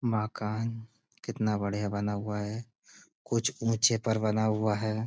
मकान कितना बढ़िया बना हुआ है कुछ ऊंचे पर बना हुआ है।